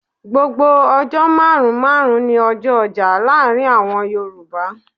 Gbogbo ọjọ́ márùn-ún márùn-ún ní ọjọ ọjà láàárín àwọn Yoruba.